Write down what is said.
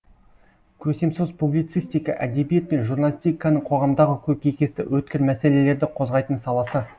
көсемсөз публицистика әдебиет пен журналистиканың қоғамдағы көкейкесті өткір мәселелерді қозғайтын саласы